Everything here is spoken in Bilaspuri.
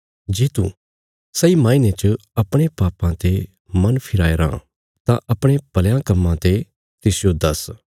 जे तू सही माईने च अपणे पापां ते मन फिराया राँ तां अपणे भल़यां कम्मां ते तिसजो दस्स